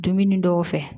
Dumuni dɔw fɛ